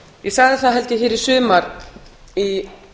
ég sagði það held ég hér í sumar í